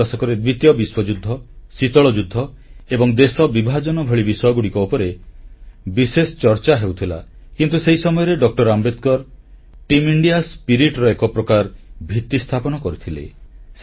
ଚାଳିଶ ଦଶକରେ ଦ୍ୱିତୀୟ ବିଶ୍ୱଯୁଦ୍ଧ ଶୀତଳ ଯୁଦ୍ଧ ଏବଂ ଦେଶ ବିଭାଜନ ଭଳି ବିଷୟଗୁଡ଼ିକ ଉପରେ ବିଶେଷ ଚର୍ଚ୍ଚା ହେଉଥିଲା କିନ୍ତୁ ସେହି ସମୟରେ ଡଃ ଆମ୍ବେଦକର ଟିମ୍ ଇଣ୍ଡିଆ ଭାବନାର ଏକ ପ୍ରକାର ଭିତ୍ତି ସ୍ଥାପନ କରିଥିଲେ